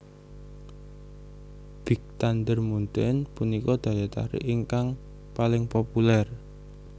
Big Thunder Mountain punika daya tarik ingkang paling populer